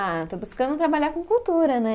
Ah, estou buscando trabalhar com cultura, né?